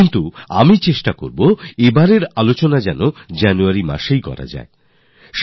কিন্তু আমি চেষ্টা করব এবার পরীক্ষা নিয়ে আলোচনা যাতে জানুয়ারির গোরায় কিংবা মাঝামাঝি হয়